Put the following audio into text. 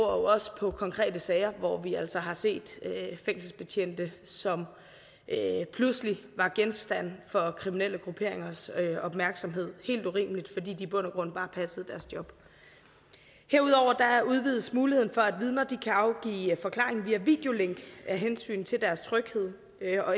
også på konkrete sager hvor vi altså har set fængselsbetjente som pludselig var genstand for kriminelle grupperingers opmærksomhed det helt urimeligt fordi de i bund og grund bare passede deres job herudover udvides muligheden for at vidner kan afgive forklaring via videolink af hensyn til deres tryghed